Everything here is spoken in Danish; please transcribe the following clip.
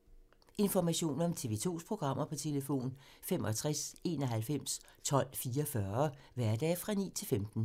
Information om TV 2's programmer: 65 91 12 44, hverdage 9-15.